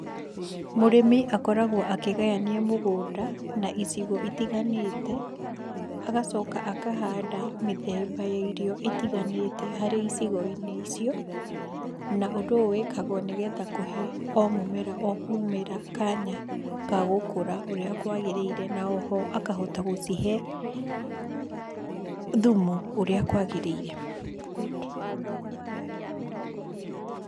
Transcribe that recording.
Mũrĩmi akoragwo akĩgayania mũgũnda na icigo itiganĩte agacoka akahanda mĩthemba ya irio ĩtiganĩte harĩ icigo-inĩ icio. Na ũndũ ũyũ wĩkagwo nĩ getha kũhe o mũmera omũmera kanya ga gũkũra ũrĩa kwagĩriire na oho aka hota gũcihe thumu ũrĩa kwagĩrĩire. good.